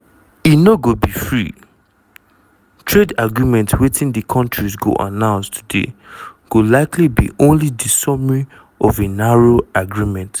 e no go be free-trade agreement wetin di kontris go announce today go likely be only di summary of a narrow agreement.